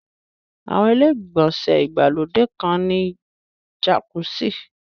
Àwọn ilé-ìgbọ̀nsẹ̀ ìgbàlódé kan ní jàkúsì